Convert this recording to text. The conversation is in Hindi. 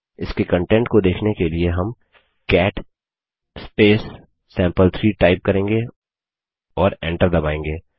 इसके कंटेंट को देखने के लिए हम कैट सैंपल3 टाइप करेंगे और एंटर दबायेंगे